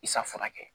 I safunɛ kɛ